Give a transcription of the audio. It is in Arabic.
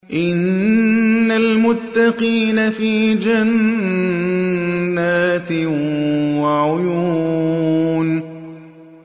إِنَّ الْمُتَّقِينَ فِي جَنَّاتٍ وَعُيُونٍ